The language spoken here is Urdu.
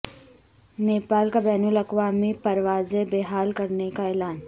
نیپال کا بین الاقوامی پروازیں بحال کرنے کا اعلان